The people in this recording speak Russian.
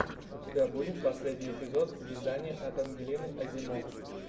у тебя будет последний эпизод вязания от ангелины озимок